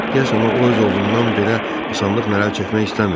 Deyəsən o öz ovundan belə asanlıqla əl çəkmək istəmirdi.